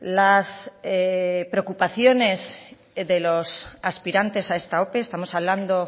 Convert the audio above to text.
las preocupaciones de los aspirantes a esta ope estamos hablando